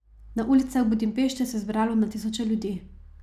Na ulicah Budimpešte se je zbralo na tisoče ljudi.